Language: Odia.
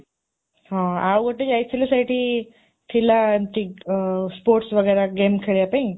ହଁ, ଆଉ ଗୋଟେ ଯାଇଥିଲୁ ସେଠି ଥିଲା ଏମିତି sports game ଖେଳିବା ପାଇଁ